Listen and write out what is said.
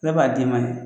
Ne b'a d'i ma ye